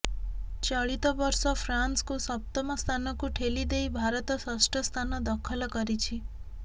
ଚଳିତ ବର୍ଷ ଫ୍ରାନ୍ସକୁ ସପ୍ତମ ସ୍ଥାନକୁ ଠେଲି ଦେଇ ଭାରତ ଷଷ୍ଠ ସ୍ଥାନ ଦଖଲ କରିଛି